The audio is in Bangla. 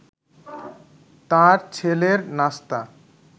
তাঁর ছেলের নাস্তা